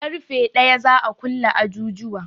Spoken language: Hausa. Ƙarfe ɗaya za a kulle ajujuwa